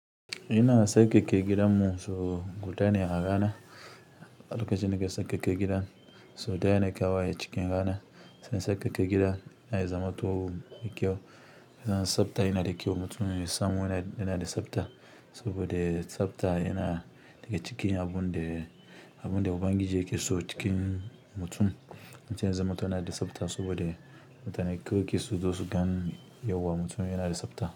Ina sauƙaƙe gidan mu, so gudane a rana. Na kanji na ke sauƙaƙe gida sau ɗaya ne kawai acikin rana sai ka sauƙaƙe gidan, yana zamto mai kyau. Dan tsabta yana da kyau. Mutumin ya san waye yana da tsabta, saboda tsabta yana daga cikin abun da, abun da ubangiji yake so cikin mutum. Mutum ya zamto yana da tsabta saboda mutane girki su zo su gani yauwa mutum yana da tsabta.